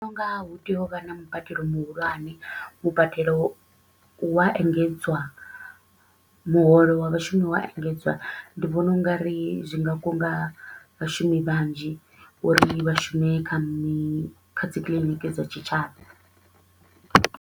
Hu nga hu tea u vha na mubadelo muhulwane, mubadelo wa engedzwa, muholo wa vhashumi wa engedzwa ndi vhona u nga ri zwi nga kunga vhashumi vhanzhi uri vhashume kha dzi clinic dza tshitshavha.